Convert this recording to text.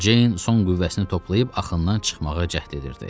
Ceyn son qüvvəsini toplayıb axından çıxmağa cəhd edirdi.